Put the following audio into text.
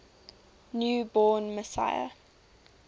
new born messiah